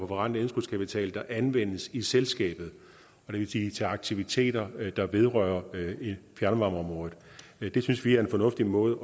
forrentet indskudskapital der anvendes i selskabet og det vil sige til aktiviteter der vedrører fjernvarmeområdet det synes vi er en fornuftig måde